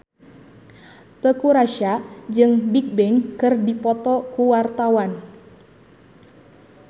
Teuku Rassya jeung Bigbang keur dipoto ku wartawan